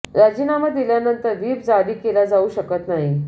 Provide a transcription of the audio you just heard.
राजीनामा दिल्यानंतर व्हीप जारी केला जाऊ शकत नाही